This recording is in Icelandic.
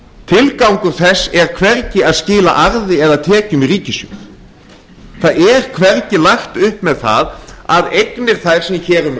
tilgangur þess er hvergi að skila arði eða tekjum í ríkissjóð það er hvergi lagt upp með það að eignir þær sem hér um